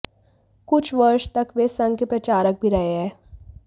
कुछ वर्ष तक वे संघ के प्रचारक भी रहे हैं